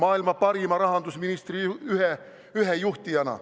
Ühe juhtijana oli teil siis maailma parim rahandusminister.